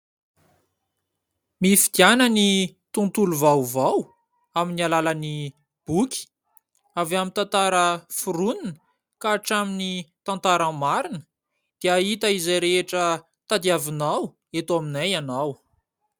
Mifidiana ny tontolo vaovao amin'ny alalan'ny boky, avy amin'ny tantara foronina ka hatramin'ny tantara marina, dia ahita izay rehetra tadiavinao eto aminay ianao.